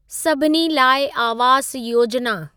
सभिनी लाइ आवास योजिना